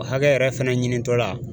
O hakɛ yɛrɛ fɛnɛ ɲinitɔla